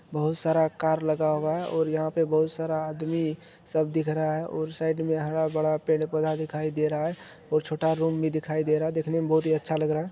बहुत सारा कार लगा हुवा है और यहाँ पे बहुत सारा आदमी सब दिख रहा है और साइड मे हरा-भरा पेड़-पोधा दिखाई दे रहा है और छोटा रूम भी दिखाई दे रहा है। देखने मे बहुत ही अच्छा लग रहा ह